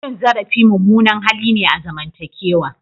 Cin zarafi mummunan hali ne a zamantakewa.